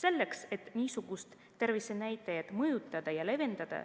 Selleks, et niisuguseid tervisenäitajaid mõjutada ja leevendada